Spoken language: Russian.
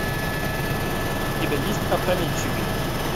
у тебя есть опрометчивый